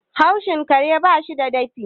haushin kare ba shi da dafi